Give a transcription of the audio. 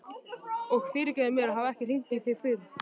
Og fyrirgefðu mér að hafa ekki hringt í þig fyrr.